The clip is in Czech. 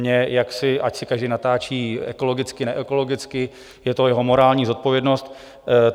Mně... ať si každý natáčí ekologicky, neekologicky, je to jeho morální zodpovědnost.